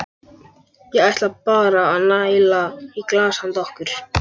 Ég ætla bara að næla í glas handa okkur.